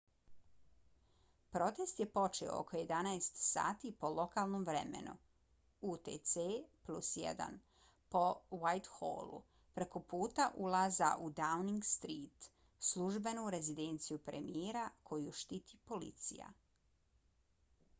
protest je počeo oko 11:00 sati po lokalnom vremenu utc+1 na whitehallu preko puta ulaza u downing street službenu rezidenciju premijera koju štiti policija